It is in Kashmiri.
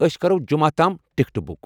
اسۍ كرو جمعہ تام ٹکٹہٕ بُک؟